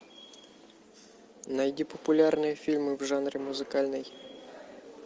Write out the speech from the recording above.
найди популярные фильмы в жанре музыкальный